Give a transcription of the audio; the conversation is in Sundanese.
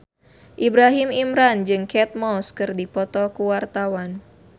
Ibrahim Imran jeung Kate Moss keur dipoto ku wartawan